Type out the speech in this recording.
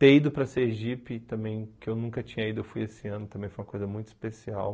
Ter ido para Sergipe também, que eu nunca tinha ido, eu fui esse ano também, foi uma coisa muito especial.